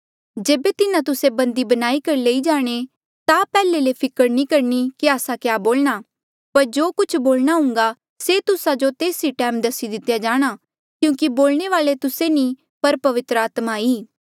जेबे तिन्हा तुस्से बंदी बनाई कर लई जाणे ता पैहले ले फिकर नी करणी कि आस्सा क्या बोलणा पर जो कुछ बोलणा हून्घा से तुस्सा जो तेस ई टैम दसी दितेया जाणा क्यूंकि बोलणे वाल्ऐ तुस्से नी ऐें पर पवित्र आत्मा ई